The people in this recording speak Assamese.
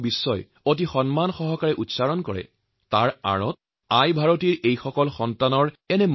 আজি যেতিয়া ভাৰতবৰ্ষৰ নাম অত্যন্ত সম্মানেৰে উচ্চাৰিত হয় তেতিয়া ইয়াৰ অন্তৰালত এই দেশৰ সন্তানসন্ততিসকলৰ উদ্যম লুকাই থাকে